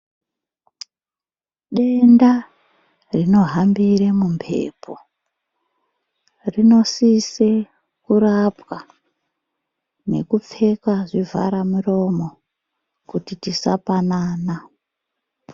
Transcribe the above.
Denda rino hambire mu mhepo rino sise kurapwa neku pfeka zvi vhara mirimo kuti tisa panana.